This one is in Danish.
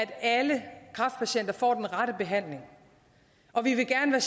alle kræftpatienter får den rette behandling og vi vil gerne